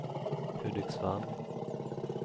Hudiksvall